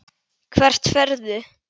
Hvert ferðu?